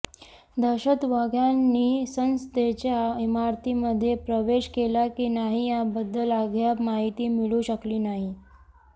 दहशतवाद्यांनी संसदेच्या इमारतीमध्ये प्रवेश केला की नाही या बद्दल अद्याप माहिती मिळू शकली नाही